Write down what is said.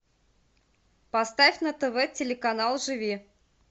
поставь на тв телеканал живи